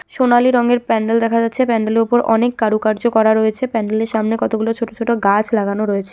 সোনালী রঙের প্যান্ডেল দেখা যাচ্ছে। প্যান্ডেল এর উপর অনেক কারুকার্য করা রয়েছে। প্যান্ডেল এর সামনে কতগুলো ছোট ছোট গাছ লাগানো রয়েছে।